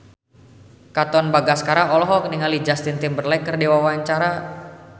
Katon Bagaskara olohok ningali Justin Timberlake keur diwawancara